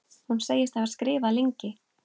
Hún segist hafa skrifað lengi.